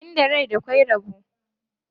Inda rai akwai rabo.